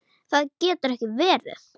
Það getur ekki verið